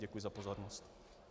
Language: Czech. Děkuji za pozornost.